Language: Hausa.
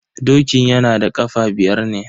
Dokin yana da kafa biyar ne.